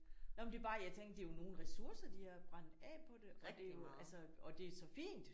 Nåh men det er bare jeg tænk det er jo nogle ressourcer de har brændt af på det og det er jo altså og det er så fint